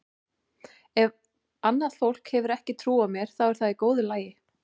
Ef að annað fólk hefur ekki trú á mér þá er það í góðu lagi.